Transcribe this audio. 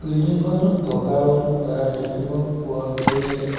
Building ঘৰটোত বগা ৰং কৰা দেখিব পৰা গৈছে।